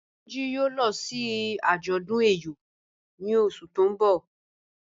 Tunji yòò lọ sí àjọdún ẹ̀yọ̀ ní ọṣù tí n bọ̀.